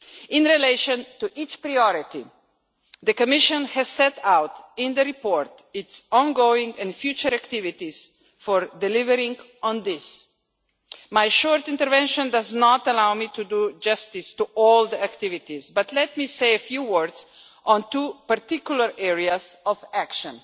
In relation to each priority, the Commission has set out in the report its ongoing and future activities for delivering. My short intervention does not allow me to do justice to all the activities, but let me say a few words on two particular areas of action.